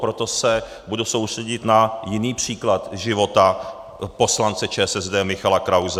Proto se budu soustředit na jiný příklad života poslance ČSSD Michala Krause.